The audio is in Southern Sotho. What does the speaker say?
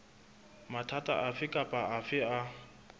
mathata afe kapa afe a